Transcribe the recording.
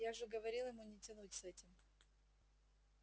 я же говорил ему не тянуть с этим